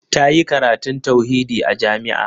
Ta yi karatun tauhidi a jami'a.